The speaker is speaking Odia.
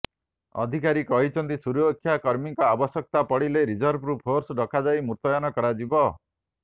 ଅଧିକାରୀ କହିଛନ୍ତି ସୁରକ୍ଷାକର୍ମୀଙ୍କ ଆବଶ୍ୟକତା ପଡ଼ିଲେ ରିଜର୍ଭରୁ ଫୋର୍ସ ଡକାଯାଇ ମୁତୟନ କରାଯିବ